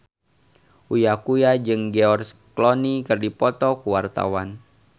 Uya Kuya jeung George Clooney keur dipoto ku wartawan